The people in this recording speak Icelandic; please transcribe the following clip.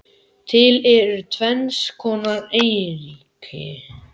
Til eru tvenns konar eyríki